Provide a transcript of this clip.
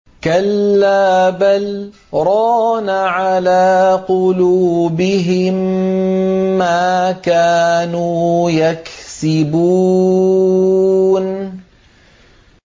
كَلَّا ۖ بَلْ ۜ رَانَ عَلَىٰ قُلُوبِهِم مَّا كَانُوا يَكْسِبُونَ